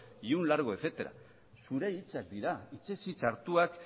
y un largo etcétera zure hitzak dira hitzez hitz hartuak